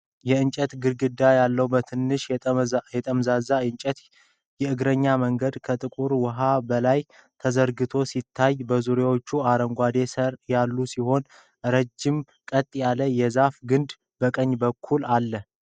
የእንጨት ግድግዳ ያለው፣ በትንሹ የተጠማዘዘ የእንጨት የእግረኛ መንገድ ከጥቁር ውሃ በላይ ተዘርግቶ ሲታይ፤ በዙሪያው አረንጓዴ ሳር ያለ ሲሆን፣ ረጅም ቀጥ ያለ የዛፍ ግንድ ከቀኝ በኩል አለ።